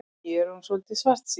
Ég er orðinn svolítið svartsýnn.